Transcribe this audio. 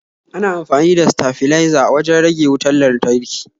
Ana amfani da stafliza wajan rage wutar lantarki